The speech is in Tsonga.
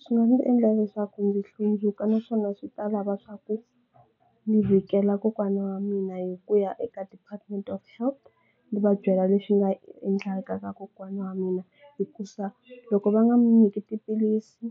Swi nga ndzi endla leswaku ndzi hlundzuka naswona swi ta lava swa ku ni vhikela kokwana wa mina hi ku ya eka department of health ndzi va byela leswi nga endlaka ka kokwana wa mina hi ku za loko va nga n'wi nyiki tiphilisi